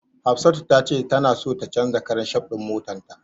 Hafsatu tace tana so ta canja karan shaf din motarta.